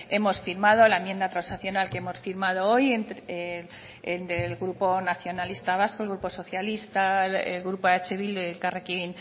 hemos firmado la enmienda transaccional que hemos firmado hoy entre el del grupo nacionalista vasco el grupo socialista el grupo eh bildu y elkarrekin